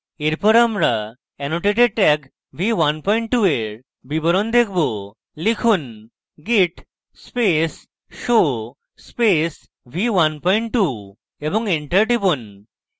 এরপর আমরা annotated tag v12 এর বিবরণ দেখবো লিখুন: git space show space v12 এবং enter টিপুন